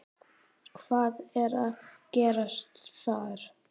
Hvað er að gerast þar?